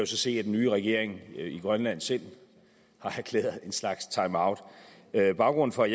så se at den nye regering i grønland selv har erklæret en slags timeout baggrunden for